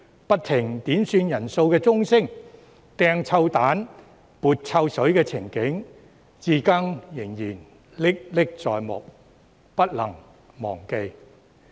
不停響起的點算人數鐘聲、擲臭蛋、潑臭水的情景，我至今仍歷歷在目，不能忘記。